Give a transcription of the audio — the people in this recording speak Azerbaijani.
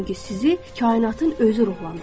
çünki sizi kainatın özü ruhlandırır.